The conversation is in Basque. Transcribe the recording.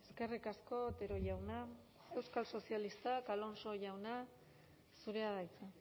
eskerrik asko otero jauna euskal sozialistak alonso jauna zurea da hitza